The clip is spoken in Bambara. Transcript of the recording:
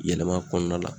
Yɛlɛma kɔnɔna la